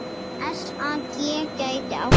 SAG gæti átt við